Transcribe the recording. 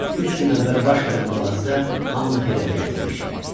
Üç gün əvvəl baş verən bu hadisə hamını heyrətə gətirmişdi.